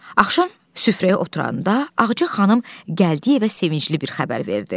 Axşam süfrəyə oturanda Ağca xanım gəldiyinə sevincli bir xəbər verdi.